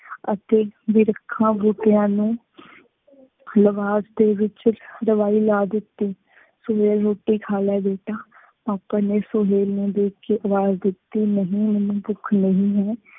ਅਤੇ ਬਿਰਖਾਂ-ਬੂਟਿਆਂ ਨੂੰ ਲਗਾਅ ਦੇ ਵਿੱਚ ਦਵਾਈ ਲਾ ਦਿੱਤੀ। ਸੁਹੇਲ ਰੋਟੀ ਖਾ ਲੈ ਬੇਟਾ, ਪਾਪਾ ਨੇ ਸੁਹੇਲ ਨੂੰ ਦੇਖ ਕੇ ਆਵਾਜ਼ ਦਿੱਤੀ, ਨਹੀਂ ਮੈਂਨੂੰ ਭੁੱਖ ਨਹੀਂ ਹੈ।